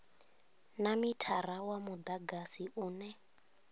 na mithara wa mudagasi une